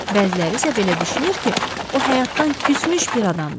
Bəziləri isə belə düşünür ki, o həyatdan küsmüş bir adamdır.